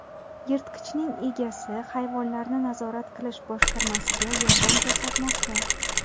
Yirtqichning egasi hayvonlarni nazorat qilish boshqarmasiga yordam ko‘rsatmoqda.